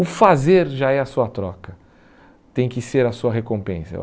O fazer já é a sua troca, tem que ser a sua recompensa.